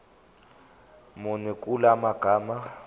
muni kula magama